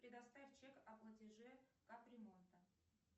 предоставь чек о платеже капремонта